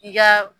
I ka